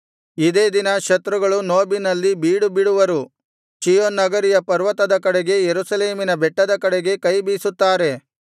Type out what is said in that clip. ಇದೇ ದಿನ ಶತ್ರುಗಳು ನೋಬಿನಲ್ಲಿ ಬೀಡುಬಿಡುವರು ಚೀಯೋನ್ ನಗರಿಯ ಪರ್ವತದ ಕಡೆಗೆ ಯೆರೂಸಲೇಮಿನ ಬೆಟ್ಟದ ಕಡೆಗೆ ಕೈ ಬೀಸುತ್ತಾರೆ